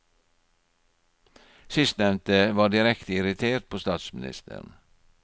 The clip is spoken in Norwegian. Sistnevnte var direkte irritert på statsministeren.